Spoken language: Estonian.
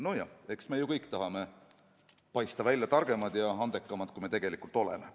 Nojah, eks me ju kõik tahame paista välja targemad ja andekamad, kui me tegelikult oleme.